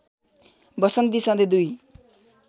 वसन्ती सधैँ दुई